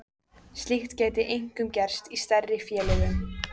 Slíkt gæti einkum gerst í stærri félögum.